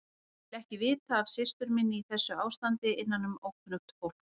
Ég vil ekki vita af systur minni í þessu ástandi innanum ókunnugt fólk.